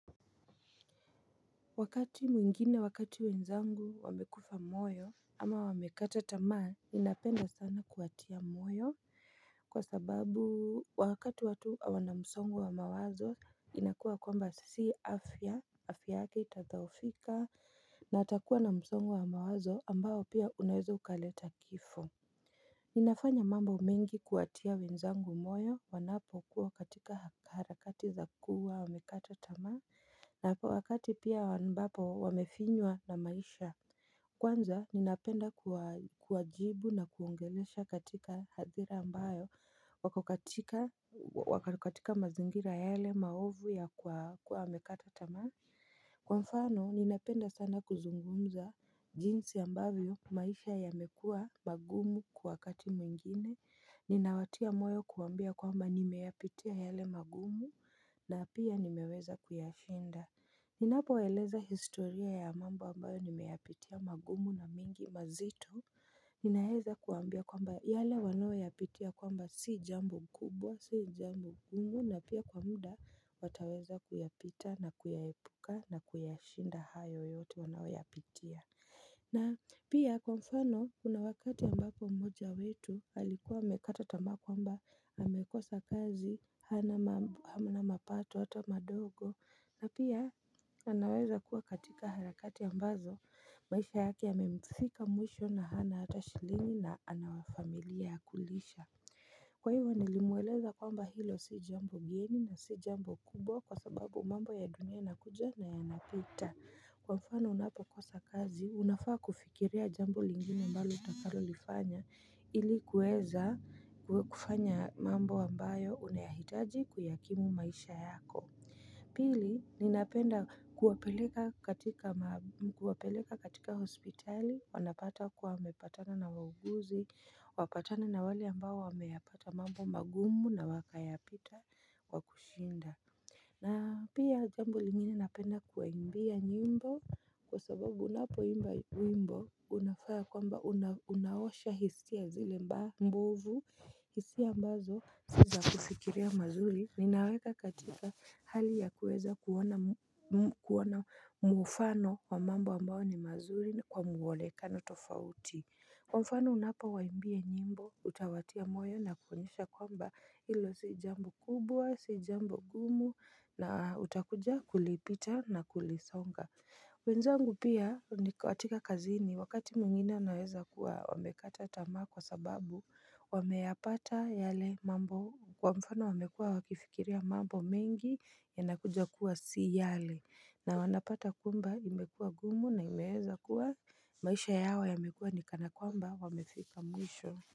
Wakati mwingine wakati wenzangu wamekufa moyo ama wamekata tamaa ninapenda sana kuwatia moyo kwa sababu wakati watu wana msongo wa mawazo inakuwa kwamba sisi afya afya yake itatadhoofika na atakuwa na msongo wa mawazo ambao pia unaweza ukaleta kifo Ninafanya mambo mengi kuwatia wenzangu moyo wanapo kuwa katika harakati za kuwa wamekata tamaa na wakati pia ambapo wamefinywa na maisha Kwanza ninapenda kuajibu na kuongeleesha katika hazira ambayo wako katika wako katika mazingira yale maovu ya kuwa wamekata tamaa Kwa mfano ninapenda sana kuzungumza jinsi ambavyo maisha yamekua magumu kwa wakati mwingine Ninawatia moyo kuambia kwamba nimeyapitia yale magumu na pia nimeweza kuyashinda Ninapoeleza historia ya mambo ambayo nimeyapitia magumu na mingi mazito Ninaeza kuambia kwamba yale wanayo yapitia kwamba si jambo kubwa si jambo ngumu na pia kwa muda wataweza kuyapita na kuyahepuka na kuyashinda hayo yote wanayo yapitia na pia kwa mfano kuna wakati ambako mmoja wetu alikuwa amekata tamaa kwamba amekosa kazi hamnna mapato hata madogo na pia anaweza kuwa katika harakati ambazo maisha yake yamemufika mwisho na hana hata shilingi na anawafamilia wakulisha Kwa hivyo nilimweleza kwamba hilo si jambo geni na si jambo kubwa kwa sababu mambo ya dunia inakuja na yanapita Kwa mfano unapo kosa kazi, unafaa kufikiria jambo lingine ambalo utakalo lifanya Ili kueza kufanya mambo ambayo unayahitaji kuyakimu maisha yako Pili ninapenda kuwapeleka katika hospitali wanapata kwa wamepatana na wauguzi wapatana na wale ambao wameyapata mambo magumu na wakayapita wakushinda na pia jambo lingine napenda kuwaimbia nyimbo kwa sababu unapoimba wimbo unafa kwamba unaosha hisia zile mbovu hisia ambazo si zakufikiria mazuri ninaweka katika hali ya kuweza kuona mufano wa mambo ambao ni mazuri kwa mwolekano tofauti Mufano unapo waimbia nyimbo utawatia moyo na kuonyesha kwamba ilo sijambo kubwa, sijambo gumu na utakuja kulipita na kulisonga wenzangu pia ni katika kazini wakati mwingine inaweza kuwa wamekata tamaa kwa sababu wameyapata yale mambo kwa mfano wamekua wakifikiria mambo mengi ya nakuja kuwa si yale na wanapata kwamba imekua gumu na imeweza kuwa maisha yao yamekua nikana kwamba wamefika mwisho.